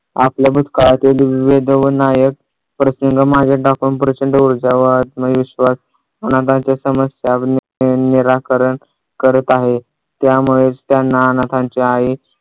आपल्या भूतकाळातील विविध व नायक प्रसंग माझ्यावर टाकून प्रचंड ऊर्जा व आत्मविश्वास अनाथांच्या समस्या निराकरण करत आहे. त्यामुळे त्यांना अनाथांची आई